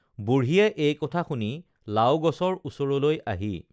বুঢ়ীয়ে এই কথা শুনি লাও গছৰ ওচৰলৈ আহি